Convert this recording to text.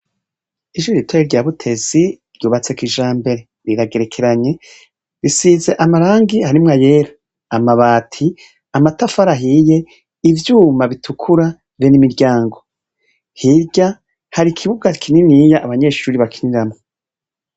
Ishure ritoya rya butesi ryubatse kijambere riragerekeranye risiz' amarangi, harimw' ayera, amabati, amatafar' ahiye, ivyuma bitukura be n'imiryango, hirya har' ikibuga kininiy' abanyeshure bakiniramwo.